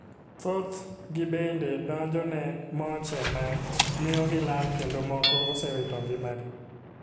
Thoth gi bende donjo ne moche ma miyo gi lal kendo moko osewito ngima gi.